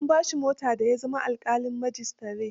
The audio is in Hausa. An ba shi mota da ya zama alƙalin majistare.